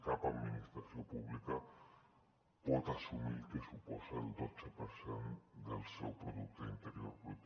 cap administració pública pot assumir el que suposa el dotze per cent del seu producte interior brut